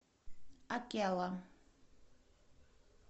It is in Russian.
акелла